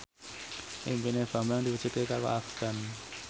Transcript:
impine Bambang diwujudke karo Afgan